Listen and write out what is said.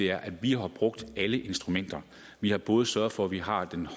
er at vi har brugt alle instrumenter vi har både sørget for at vi har den